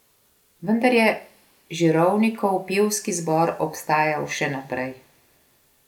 Vendar je Žirovnikov pevski zbor obstajal še naprej.